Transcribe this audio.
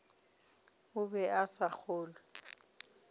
o be a sa kgolwe